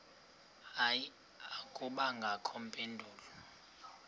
hayi akubangakho mpendulo